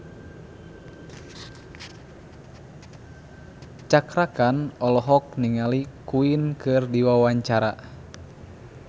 Cakra Khan olohok ningali Queen keur diwawancara